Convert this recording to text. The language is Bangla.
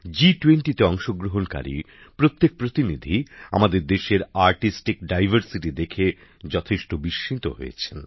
জি20 তে অংশগ্রহণকারী প্রত্যেক প্রতিনিধি আমাদের দেশের শৈল্পিক বৈচিত্র্য দেখে যথেষ্ট বিস্মিত হয়েছেন